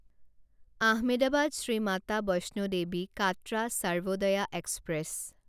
Ahmedabad Shri Mata Vaishno Devi Katra Sarvodaya express